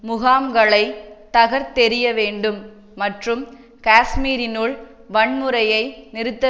முகாம்களைத் தகர்த்தெறிய வேண்டும் மற்றும் காஷ்மீரினுள் வன்முறையை நிறுத்த